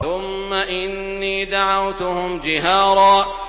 ثُمَّ إِنِّي دَعَوْتُهُمْ جِهَارًا